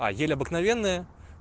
а ель обыкновенная